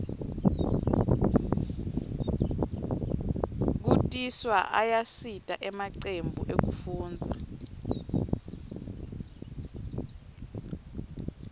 kutiswa ayasita emacembu ekufundza